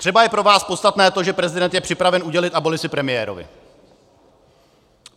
Třeba je pro vás podstatné to, že prezident je připraven udělit abolici premiérovi.